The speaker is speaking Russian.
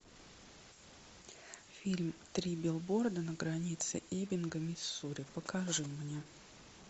фильм три билборда на границе эббинга миссури покажи мне